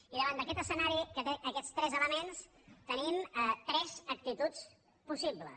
i davant d’aquest escenari que té aquests tres elements tenim tres actituds possibles